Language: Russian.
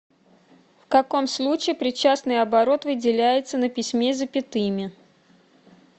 в каком случае причастный оборот выделяется на письме запятыми